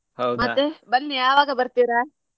ಬನ್ನಿ ಯಾವಾಗ ಬರ್ತೀರಾ?